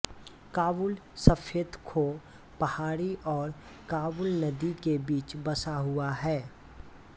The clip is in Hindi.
काबुल सफेद खो पहाड़ी और काबुल नदी के बीच बसा हुआ है